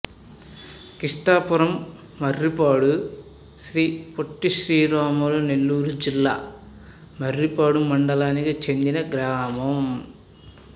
కృష్ణాపురంమర్రిపాడు శ్రీ పొట్టిశ్రీరాములు నెల్లూరు జిల్లా మర్రిపాడు మండలానికి చెందిన గ్రామం